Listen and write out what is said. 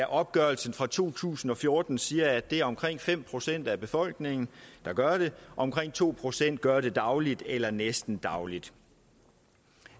opgørelsen fra to tusind og fjorten siger at det er omkring fem procent af befolkningen der gør det omkring to procent gør det dagligt eller næsten dagligt